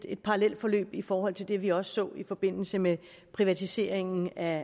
et parallelforløb i forhold til det vi også så i forbindelse med privatiseringen af